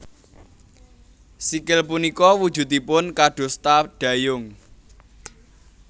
Sikil punika wujudipun kadosta dayung